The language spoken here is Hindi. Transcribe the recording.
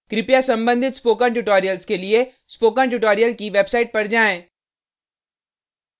कृपया संबंधित ट्यूटोरियल्स के लिए स्पोकन ट्यूटोरियल की वेबसाइट पर जाएँ